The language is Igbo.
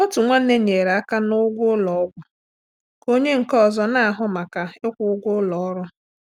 Otu nwanne nyere aka n'ụgwọ ụlọ ọgwụ ka onye nke ọzọ na-ahụ maka ịkwụ ụgwọ ụlọ ọrụ.